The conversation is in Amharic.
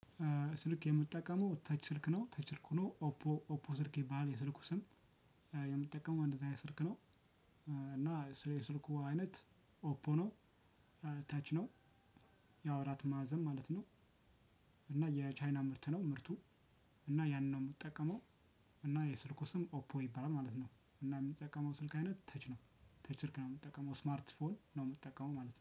ስልክ የምጠቀመው ተች ስልክ ነው ተች ስልክ ሆኖ ኦፖ ኦፖ ስልክ ይባላል የስልኩ ስም። የምትጠቀመው እንደዛ አይነት ስልክ ነው። እና ስለ ስልኩ አይነት ኦፖ ነው። ተች ነው። ያው አራት ማዕዘን ማለት ነው። እና የቻይና ምርት ነው ምርቱ። እና ያንን ነው የምትጠቀመው። እና የስልኩ ስም ኦፖ ይባላል ማለት ነው። እና የምንጠቀመው ስልክ አይነት ተች ነው። ተች ስልክ የምጠቀመው ስማርት ፎን ነው የምጠቀመው ማለት ነው